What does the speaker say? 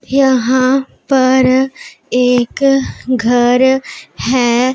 यहां पर एक घर हैं।